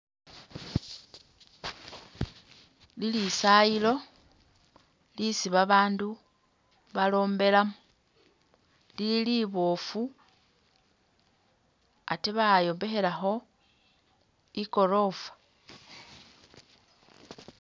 Ilisayilo lisi babaandu balombelamu, lili liboofu ate bayombekhelakho i'goroofa.